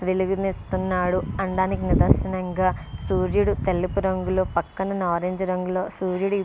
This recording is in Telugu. వెలుగు ని ఇస్తున్నాడు అనడానికి నిదర్శనంగా సూర్యుడు తెలుపు రంగు లో పక్కన నారింజ రంగులో సూర్యుడు--